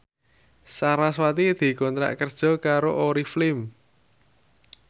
sarasvati dikontrak kerja karo Oriflame